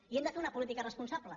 i hem de fer una política responsable